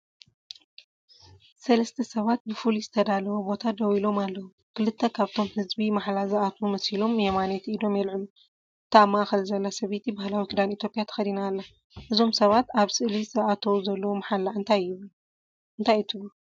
ሰለስተ ሰባት ብፍሉይ ዝተዳለወ ቦታ ደው ኢሎም ኣለዉ። ክልተ ካብቶም ህዝቢ ማሕላ ዝኣትዉ መሲሎም የማነይቲ ኢዶም የልዕሉ። እታ ኣብ ማእኸል ዘላ ሰበይቲ ባህላዊ ክዳን ኢትዮጵያ ተኸዲና ኣላ። እዞም ሰባት ኣብ ስእሊ ዝኣትውዎ ዘለዉ ማሕላ እንታይ ትብሉ?